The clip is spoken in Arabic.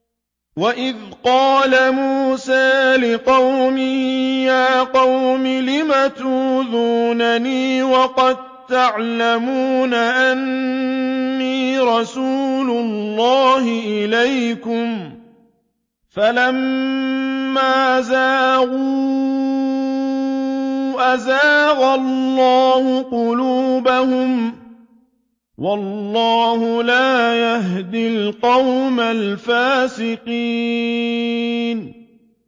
وَإِذْ قَالَ مُوسَىٰ لِقَوْمِهِ يَا قَوْمِ لِمَ تُؤْذُونَنِي وَقَد تَّعْلَمُونَ أَنِّي رَسُولُ اللَّهِ إِلَيْكُمْ ۖ فَلَمَّا زَاغُوا أَزَاغَ اللَّهُ قُلُوبَهُمْ ۚ وَاللَّهُ لَا يَهْدِي الْقَوْمَ الْفَاسِقِينَ